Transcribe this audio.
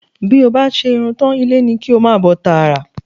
Bí o bá ṣe irun tán, ilé ni kí o máa bọ̀ tààrà